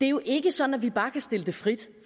jo ikke sådan at vi bare kan stille det frit